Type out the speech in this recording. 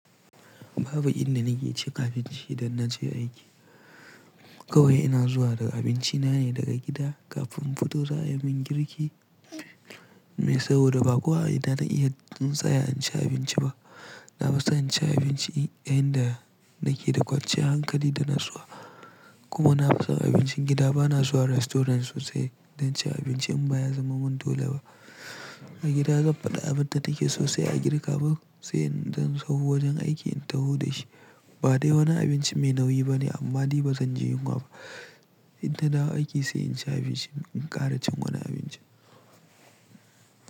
Babu inda nake cin abinci idan naje aiki. Kawai ina zuwa da abinci na ne daga gida kafin in fito za a min girki. Saboda ba kuwa ina na iya in tsaya in ci abinci ba. Na fi son cin abinci a inda nake da kwanciyar hankali da natsuwa. Kuma na fi son abincin gida, bana zuwa restaurant sosai don cin abinci in ba ya zama min dole ba. A gida zan faɗi abin da nake so sai a girka min sai in zan zo wajen aiki in taho da shi. Ba dai wani abinci mai nauyi bane amma ni ba zan je yunwa ba. Idan na dawo aiki sai in ci abinci in ƙara cin wani abinci.